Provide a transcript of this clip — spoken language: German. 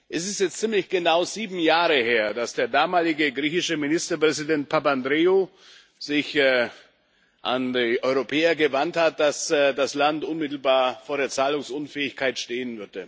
Es ist jetzt ziemlich genau sieben Jahre her, dass der damalige griechische Ministerpräsident Papandreou sich an die Europäer gewandt hat, dass das Land unmittelbar vor der Zahlungsunfähigkeit stehe.